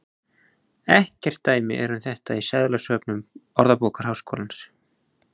Ekkert dæmi er um þetta í seðlasöfnum Orðabókar Háskólans.